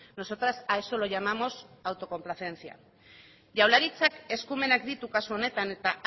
nosotras a eso lo llamamos autocomplacencia jaurlaritzak eskumenak ditu kasu honetan eta